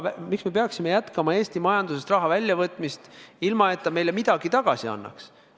Miks me peaksime jätkama Eesti majandusest raha väljavõtmist, ilma et see meile midagi tagasi annaks?